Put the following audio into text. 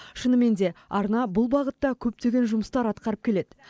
шынымен де арна бұл бағытта көптеген жұмыстар атқарып келеді